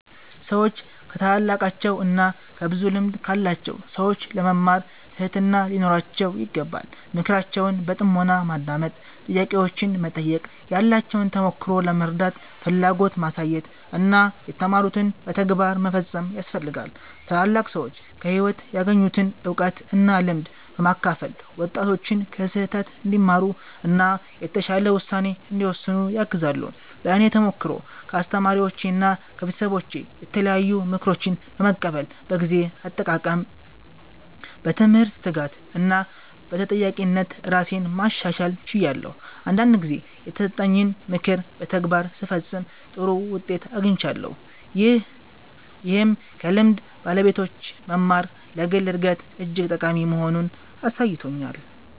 ሰዎች ከታላላቃቸው እና ከብዙ ልምድ ካላቸው ሰዎች ለመማር ትህትና ሊኖራቸው ይገባል። ምክራቸውን በጥሞና ማዳመጥ፣ ጥያቄዎችን መጠየቅ፣ ያላቸውን ተሞክሮ ለመረዳት ፍላጎት ማሳየት እና የተማሩትን በተግባር መፈጸም ያስፈልጋል። ታላላቅ ሰዎች ከህይወት ያገኙትን እውቀት እና ልምድ በማካፈል ወጣቶች ከስህተት እንዲማሩ እና የተሻለ ውሳኔ እንዲወስኑ ያግዛሉ። በእኔ ተሞክሮ ከአስተማሪዎቼና ከቤተሰቦቼ የተለያዩ ምክሮችን በመቀበል በጊዜ አጠቃቀም፣ በትምህርት ትጋት እና በተጠያቂነት ራሴን ማሻሻል ችያለሁ። አንዳንድ ጊዜ የተሰጠኝን ምክር በተግባር ስፈጽም ጥሩ ውጤት አግኝቻለሁ፣ ይህም ከልምድ ባለቤቶች መማር ለግል እድገት እጅግ ጠቃሚ መሆኑን አሳይቶኛል።